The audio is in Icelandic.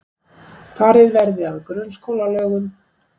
Farið verði að grunnskólalögum